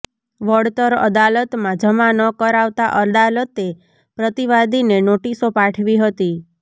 વળતર અદાલતમાં જમા ન કરાવતાં અદાલતે પ્રતિવાદીને નોટિસો પાઠવી હતી